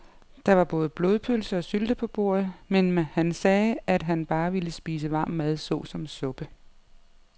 Der var både blodpølse og sylte på bordet, men han sagde, at han bare ville spise varm mad såsom suppe.